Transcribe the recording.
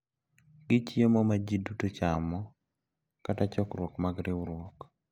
Gi chiemo ma ji duto chamo kata chokruok mag riwruok.